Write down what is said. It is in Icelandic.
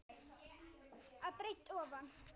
að breidd ofan.